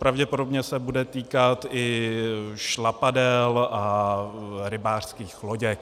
Pravděpodobně se bude týkat i šlapadel a rybářských loděk.